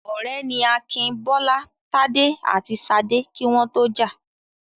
Ọ̀rẹ́ ni Akin, Bọ́lá, Tádé àti Ṣadé kí wọ́n tó jà.